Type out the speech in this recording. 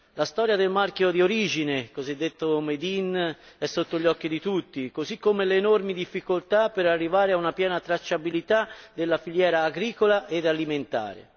La storia del marchio di origine, cosiddetto Made in è sotto gli occhi di tutti, così come le enormi difficoltà per arrivare a una piena tracciabilità della filiera agricola e alimentare.